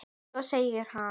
Svo segir hann